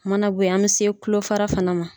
U mana bɔ yen, an bɛ se tulo fara fana ma.